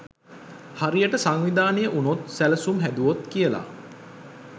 හරියට සංවිධානය උනොත් සැලසුම් හැදුවොත් කියල.